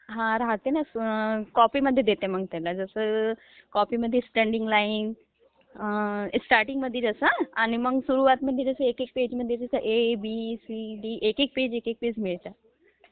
हा राहते ना, मग कॉपीमध्ये देते त्यांना. जसं कॉपीमध्ये slanting lines, is not clear एक एकपेजमध्ये ए, बी, सी, ची..एकेक पेज देते